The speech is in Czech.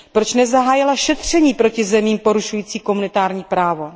Proč nezahájila šetření proti zemím porušující komunitární právo?